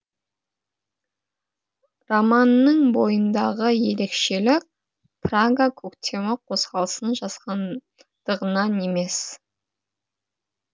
романның бойындағы ерекшелік прага көктемі қозғалысын жазғандығынан емес